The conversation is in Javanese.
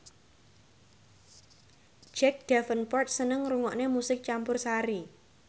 Jack Davenport seneng ngrungokne musik campursari